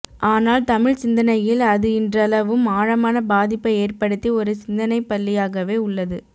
ஆனால் தமிழ் சிந்தனையில் அது இன்றளவும் ஆழமான பாதிப்பை ஏற்படுத்தி ஒரு சிந்தனைப்பள்ளியாகவே உள்ளது